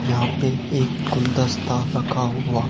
यहां पे एक गुलदस्ता रखा हुआ--